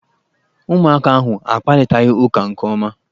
Ụmụaka ahụ akparịtaghị ụka nke ọma